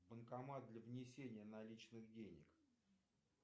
банкомат для внесения наличных денег